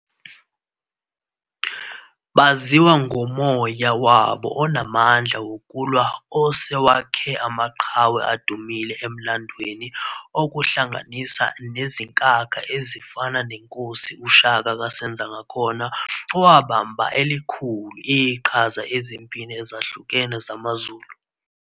Baziwa ngomoya wabo onamandla wokulwa osewakhe amaqhawe adumile emlandweni okuhlanganisa nezinkakha ezifana nenkosi uShaka kaSenzangakhona owabamba elikhulu iqhaza ezimpini ezahlukene zamaZulu.